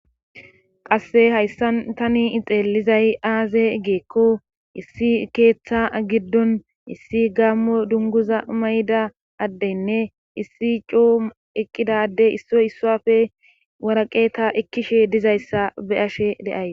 qasse hayssan tani xeellizay aaze geekko issi keeththa giddon issi gaammo dunguza mayda addeynne issi cuu eqqidadey issoy issuafe waraqeeta ekkishe dizayssa beyashe deay